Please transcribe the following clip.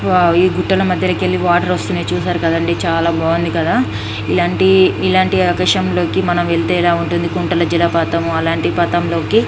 వా ఈ గుట్టల మధ్యలో కెళ్ళి వాటర్ వస్తున్నాయి చూశారు కదండీ చాలా బాగుంది కదా ఇలాంటి ఇలాంటి ప్రదేశంలోకి మనం వెళితే ఎలా ఉంటుంది కొండల జలపాతం అలాంటి పాటంలోకి.